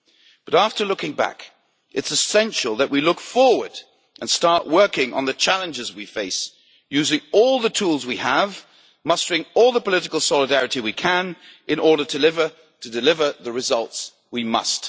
But after looking back, it is essential that we look forward and start working on the challenges we face, using all the tools we have, mustering all the political solidarity we can, in order to deliver the results we must.